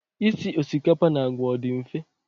Isi osikapa na àgwà, ọ dị mfe?